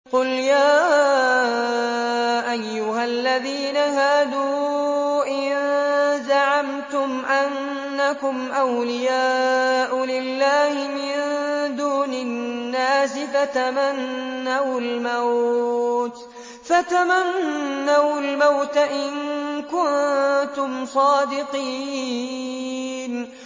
قُلْ يَا أَيُّهَا الَّذِينَ هَادُوا إِن زَعَمْتُمْ أَنَّكُمْ أَوْلِيَاءُ لِلَّهِ مِن دُونِ النَّاسِ فَتَمَنَّوُا الْمَوْتَ إِن كُنتُمْ صَادِقِينَ